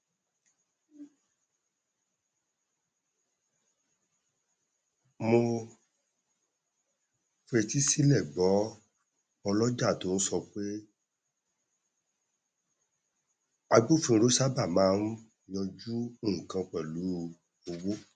mo fetísílẹ gbọ ọlọjà tó n sọ pé agbófinró sábà máa n yánjú nnkan pẹlú owó